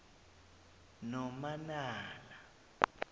nomanala